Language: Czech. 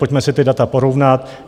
Pojďme si ta data porovnat.